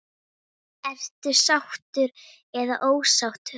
Ertu sáttur eða ósáttur?